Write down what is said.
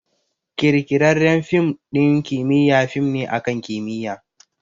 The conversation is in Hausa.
Ƙirƙirarren fim ɗin kimiyya fim ne akan kimiyya